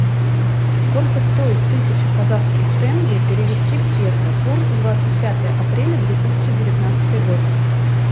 сколько стоит тысяча казахских тенге перевести в песо курс двадцать пятое апреля две тысячи девятнадцатый год